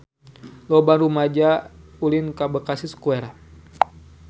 Loba rumaja ulin ka Bekasi Square